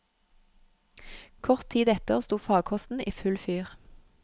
Kort tid etter sto farkosten i full fyr.